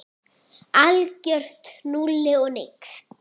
Algjört núll og nix.